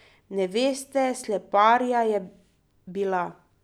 Ne, veste, sleparija je bila.